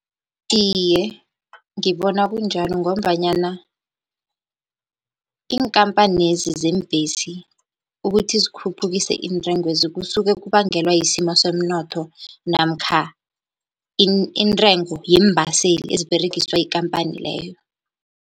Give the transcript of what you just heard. Iye, ngibona kunjalo, ngombanyana iinkampanezi zeembhesi ukuthi zikhuphukise intengo lezi kusuke kubangelwa yisimo somnotho namkha intengo yeembaseli eziberegiswa yikampani leyo.